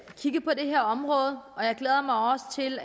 kigge på det her område og jeg glæder mig også til